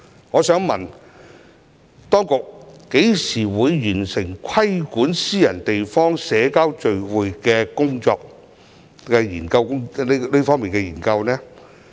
我想問當局何時完成規管私人地方社交聚會的研究工作？